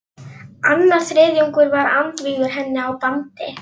Annar þriðjungur var andvígur henni og á bandi